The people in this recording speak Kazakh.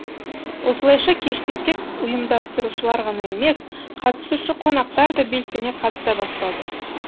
осылайша кеште тек ұйымдастырушылар ғана емес катысушы қонақтар да белсене қатыса бастады